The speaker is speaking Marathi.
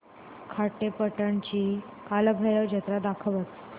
खारेपाटण ची कालभैरव जत्रा दाखवच